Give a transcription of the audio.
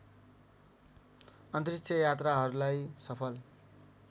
अन्तरिक्ष यात्राहरूलाई सफल